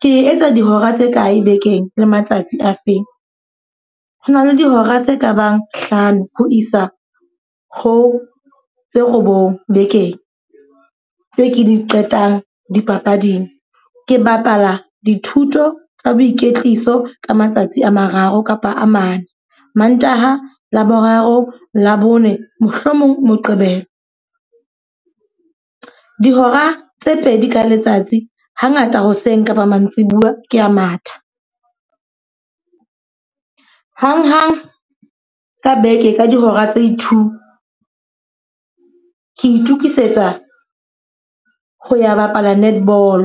Ke etsa dihora tse kae bekeng le matsatsi a feng. Ho na le dihora tse kabang hlano ho isa ho tse robong bekeng, tse ke di qetang dipapading ke bapala dithuto tsa boikwetliso ka matsatsi a mararo kapa a mane. Mantaha, Laboraro, Labone, mohlomong Moqebelo. Dihora tse pedi ka letsatsi. Hangata hoseng kapa mantsibuya ke a matha. Hang hang ka beke ka dihora tse two ke itokisetsa ho ya bapala netball.